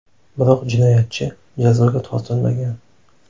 Biroq jinoyatchi jazoga tortilmagan.